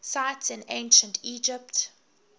cities in ancient egypt